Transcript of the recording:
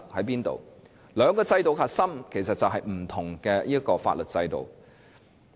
其實，兩種制度的核心是不同的法律制度。